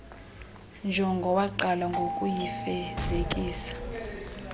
njongo waqala ngokuyifezekisa